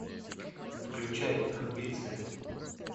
включай амбиция